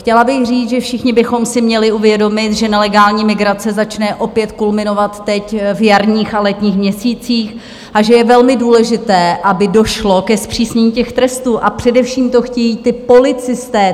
Chtěla bych říct, že všichni bychom si měli uvědomit, že nelegální migrace začne opět kulminovat teď v jarních a letních měsících a že je velmi důležité, aby došlo ke zpřísnění těch trestů, a především to chtějí ti policisté.